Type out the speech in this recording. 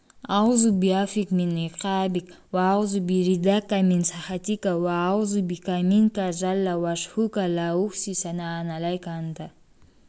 әъузу биафуик мин иқаабик уә әъузу би ридаакә мин сахатикә уә әъузу бика минкә жәллә уәжһукә ләә ухсии сәнә-ән алайкә әнтә